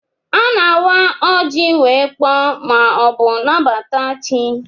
A na-awa oji wee kpọọ ma ọ bụ nabata chi.